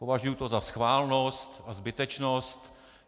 Považuji to za schválnost a zbytečnost.